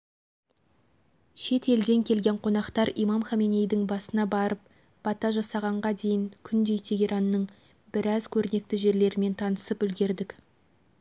бас имамның өмір жолы туралы оның философиялық көзқарастары мен иран халқына сіңірген еңбегі жөнінде бірнеше ғылыми конференциялар өтті